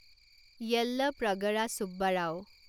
Yellapragada Subbarao